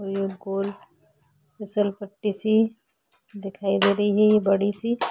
ओर ये गोल फिसलपट्टी सी दिखाई दे रही है ये बड़ी सी --